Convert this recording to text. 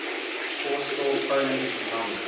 forestall poland's economic